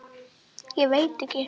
Ég veit ekki.